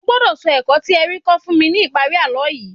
Ẹ gbọ́dọ̀ sọ ẹ̀kọ́ tí ẹ rí kọ́ fún mi ní ìparí àlọ́ yìí